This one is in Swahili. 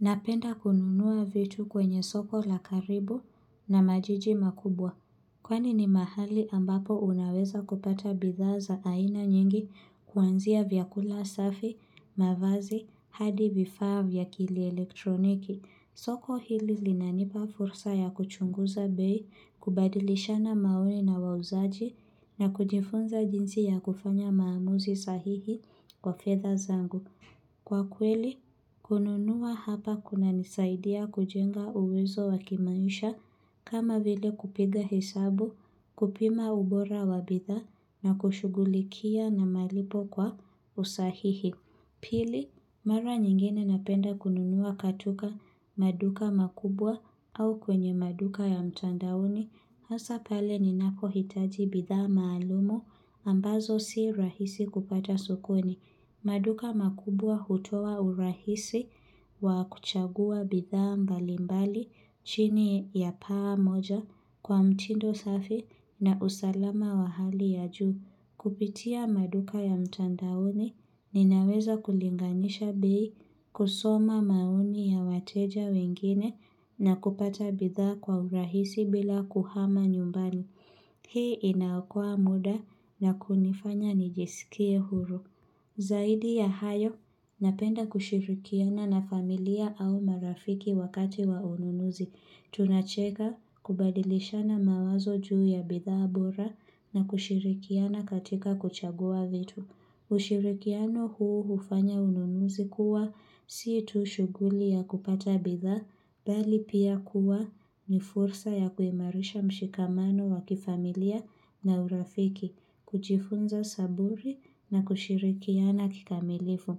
Napenda kununua vitu kwenye soko la karibu na majiji makubwa. Kwani ni mahali ambapo unaweza kupata bidhaa za aina nyingi kuanzia vyakula safi, mavazi, hadi vifaa vya kielektroniki. Soko hili linanipa fursa ya kuchunguza bei, kubadilishana maoni na wauzaji, na kujifunza jinsi ya kufanya maamuzi sahihi kwa fedha zangu. Kwa kweli, kununua hapa kunanisaidia kujenga uwezo wa kimaisha kama vile kupiga hesabu, kupima ubora wa bidhaa na kushugulikia na malipo kwa usahihi. Pili, mara nyingine napenda kununua katika maduka makubwa au kwenye maduka ya mtandaoni. Hasa pale ninapohitaji bidhaa maalumu ambazo si rahisi kupata sokoni. Maduka makubwa hutoa urahisi wa kuchagua bidhaa mbalimbali chini ya paa moja kwa mtindo safi na usalama wa hali ya juu. Kupitia maduka ya mtandaoni ninaweza kulinganisha bei kusoma maoni ya wateja wengine na kupata bidhaa kwa urahisi bila kuhama nyumbani. Hii inaokoa muda na kunifanya nijisikie huru. Zaidi ya hayo, napenda kushirikiana na familia au marafiki wakati wa ununuzi. Tunacheka kubadilishana mawazo juu ya bidhaa bora na kushirikiana katika kuchagua vitu. Ushirikiano huo hufanya ununuzi kuwa si tu shuguli ya kupata bidhaa bali pia kuwa ni fursa ya kuimarisha mshikamano wa kifamilia na urafiki kujiifunza saburi na kushirikiana kikamilifu.